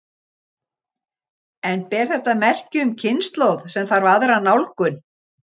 En ber þetta merki um kynslóð sem þarf aðra nálgun?